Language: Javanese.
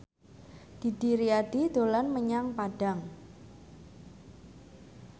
Didi Riyadi dolan menyang Padang